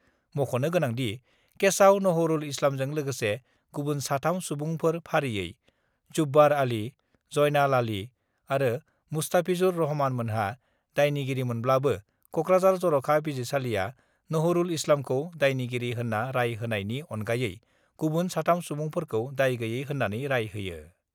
मख'नो गोनांदि, केसआव नहरुल इस्लामजों लोगोसे गुबुन साथाम सुबुंफोर फारियै जुब्बार आली, जयनाल आली आरो मुस्ताफिजुर रहमानमोनहा दायनिगिरिमोनब्लाबो कक्राझार जर'खा बिजिरसालिआ नहरुल इस्लामखौ दायनिगिरि होन्ना राय होनायनि अनगायै गुबुन साथाम सुबुंफोरखौ दाय गैयै होन्नानै राय होयो।